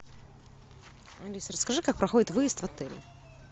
алиса расскажи как проходит выезд в отеле